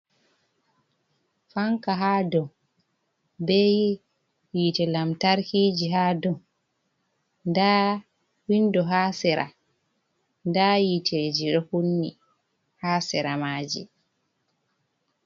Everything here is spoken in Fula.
Fanka ha dow be yiti lamtarkiji ha dow da windo ha sira da yiteji ɗo kunni ha sira maaji.